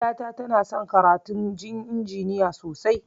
Ƴata tana son karatun injiniya sosai